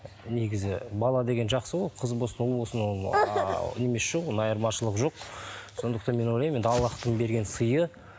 негізі бала деген жақсы ғой қыз болсын ұл болсын ол жоқ оның айырмашылығы жоқ сондықтан мен ойлаймын енді аллахтың берген сыйы